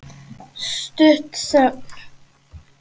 Stutt þögn.